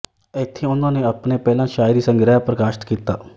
ਇੱਥੇ ਉਨ੍ਹਾਂ ਨੇ ਆਪਣੇ ਪਹਿਲਾਂ ਸ਼ਾਇਰੀ ਸੰਗ੍ਰਹਿ ਪ੍ਰਕਾਸ਼ਤ ਕੀਤਾ